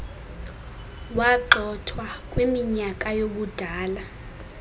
wagxothwa ukwiminyaka yobudala